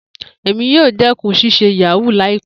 Emi yoo dẹkun ṣiṣe yahoo laipẹ.